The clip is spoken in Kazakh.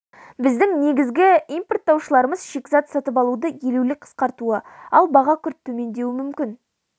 біздің негізгі импорттаушыларымыз шикізат сатып алуды елеулі қысқартуы ал баға күрт төмендеуі мүмкін